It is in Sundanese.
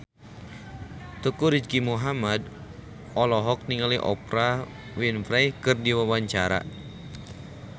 Teuku Rizky Muhammad olohok ningali Oprah Winfrey keur diwawancara